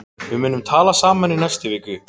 Við munum tala saman í næstu viku.